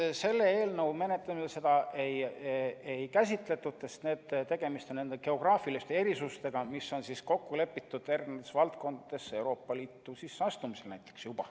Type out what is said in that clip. Ei, selle eelnõu menetlemisel seda ei käsitletud, sest tegemist on nende geograafiliste erisustega, mis näiteks lepiti juba kokku eri valdkondades Euroopa Liitu astumisel.